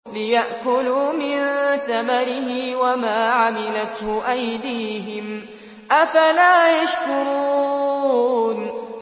لِيَأْكُلُوا مِن ثَمَرِهِ وَمَا عَمِلَتْهُ أَيْدِيهِمْ ۖ أَفَلَا يَشْكُرُونَ